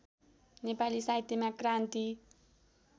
नेपाली साहित्यमा क्रान्ति